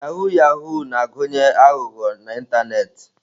Yahoo Yahoo na-agụnye aghụghọ n'ịntanetị